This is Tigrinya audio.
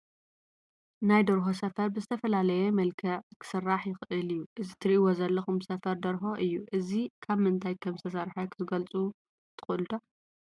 ናይ ደርሆ ሰፈር ብዘተፈላለየ መልክዕ ክስራሕ ይኽእል እዩ፡፡ እዚ ትርኢዎ ዘለኹም ሰፈር ደርሆ እዩ፡፡ እዚ ካብ ምንታይ ከምዝተሰርሐ ክትገልፁ ክትገልፁ ትኽእሉ ዶ?